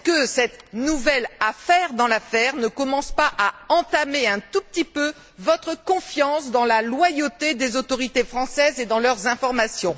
cette nouvelle affaire dans l'affaire ne commence t elle pas à entamer un tout petit peu votre confiance dans la loyauté des autorités françaises et dans leurs informations?